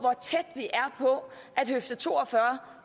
at høfde to og fyrre